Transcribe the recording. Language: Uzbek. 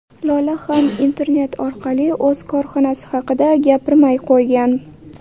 Lola ham internet orqali o‘z korxonasi haqida gapirmay qo‘ygan.